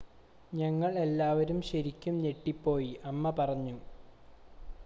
"""ഞങ്ങൾ എല്ലാവരും ശരിക്കും ഞെട്ടിപ്പോയി," അമ്മ പറഞ്ഞു.